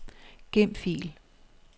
Gem fil.